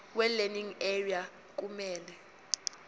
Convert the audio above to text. welearning area kumele